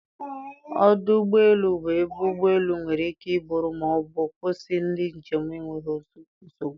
Ọdụ ụgbọ elu bụ ebe ụgbọ elu nwere ike iburu ma ọ bụ kwụsị ndị njem n'enweghị nsogbu